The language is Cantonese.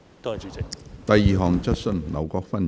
第二項質詢。